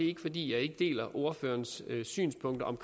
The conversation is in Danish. ikke fordi jeg ikke deler ordførerens synspunkt om